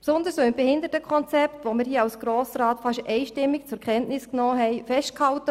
Dies insbesondere, nachdem wir das Behindertenkonzept hier im Grossen Rat fast einstimmig zur Kenntnis genommen haben.